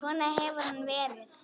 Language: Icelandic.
Svona hefur hann verið.